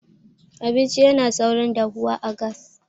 abinci yana saurin dahuwa a gas